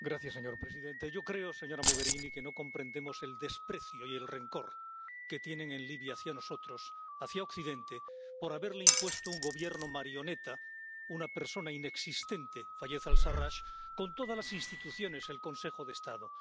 Señor presidente, señora Mogherini, yo creo que no comprendemos el desprecio y el rencor que tienen en Libia hacia nosotros, hacia Occidente, por haberle impuesto un gobierno marioneta, una persona inexistente —Fayez al Sarrach— con todas las instituciones, hasta el Consejo de Estado.